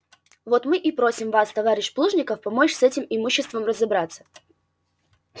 вот мы и просим вас товарищ плужников помочь с этим имуществом разобраться